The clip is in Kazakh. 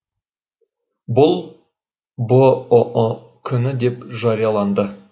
бұл бұұ күні деп жарияланды